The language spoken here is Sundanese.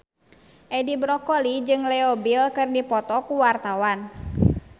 Edi Brokoli jeung Leo Bill keur dipoto ku wartawan